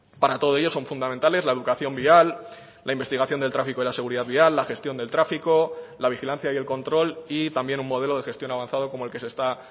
para todo ello son fundamentales la educación vial la investigación del tráfico y la seguridad vial la gestión del tráfico la vigilancia y el control y también un modelo de gestión avanzado como el que se está